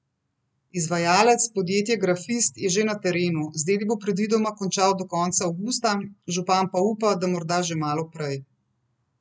Izvajalec, podjetje Grafist, je že na terenu, z deli bo predvidoma končal do konca avgusta, župan pa upa, da morda že malo prej.